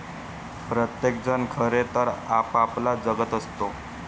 प्रत्येक जण खरे तर आपापला जगत असतो.